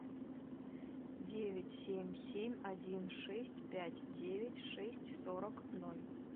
девять семь семь один шесть пять девять шесть сорок ноль